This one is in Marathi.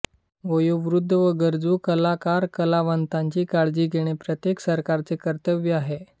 वयोवृद्ध व गरजू कलाकारकलावंतांची काळजी घेणे प्रत्येक सरकारचे कर्तव्य आहे